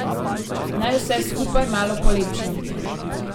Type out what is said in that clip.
Naj vse skupaj malo polepšam.